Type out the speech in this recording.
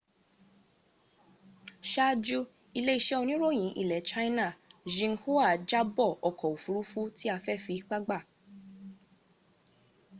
sáájú ilé-iṣẹ́ oníròyìn ilẹ̀ china xinhua jábọ̀ ọkọ̀ òfuurufú tí a fẹ́ fi ipá gbà